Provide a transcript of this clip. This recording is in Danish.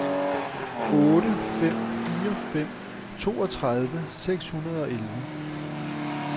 otte fem fire fem toogtredive seks hundrede og elleve